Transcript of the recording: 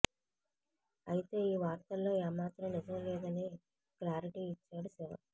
అయితే ఈ వార్తల్లో ఏ మాత్రం నిజం లేదని క్లారిటీ ఇచ్చాడు శివ